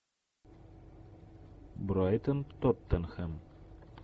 брайтон тоттенхэм